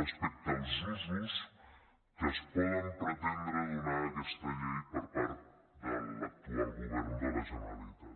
respecte als usos que es poden pretendre donar a aquesta llei per part de l’actual govern de la generalitat